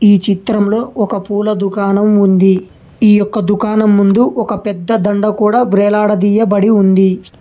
ఈ చిత్రంలో ఒక పూల దుకాణం ఉంది ఈ యొక్క దుకాణం ముందు ఒక పెద్ద దండ కూడా వ్రేలాడదీయబడి ఉంది.